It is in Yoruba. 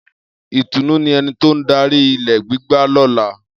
Itunu ni eni to n dari gbigba lola.